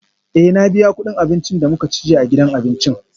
Eh na biya kudin abincin da muka ci jiya a gidan abinci